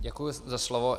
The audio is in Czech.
Děkuji za slovo.